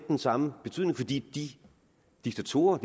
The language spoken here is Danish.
den samme betydning fordi de diktatorer